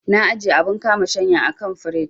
Na ajiye abun kama shanya a kan firij.